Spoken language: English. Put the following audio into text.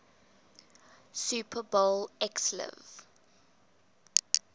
super bowl xliv